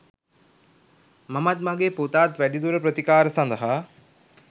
මමත් මගේ පුතාත් වැඩිදුර ප්‍රතිකාර සඳහා